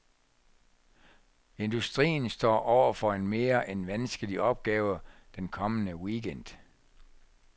Industrien står over for en mere end vanskelig opgave den kommende weekend.